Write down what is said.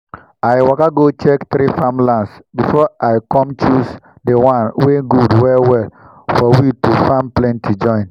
i waka go check three farmlands befor i com choose dey one wen gud well well for we to farm plenti join